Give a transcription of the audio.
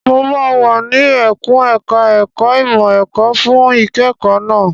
Mo máa wà ní ẹkùn ẹ̀ka ẹ̀kó ìmọ̀ ẹ̀kọ́ fún ìkẹ́kọ̀ọ́ náà.